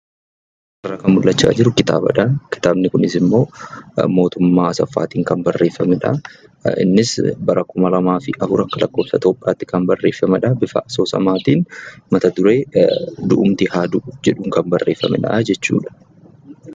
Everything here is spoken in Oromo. Asirraa kan mullachaa jiru kitaabadhaa. Kitaabni kunis immoo Mootummaa Asaffaatiin kan barreeffamedha. Innis bara 2004 akka lakkoofsa Itiyoophiyaatti kan barreeffamedha. Bifa asoosamaatiin mata duree " Du'umti haa du'u" jedhuun kan barreeffamedhaa jechuudha.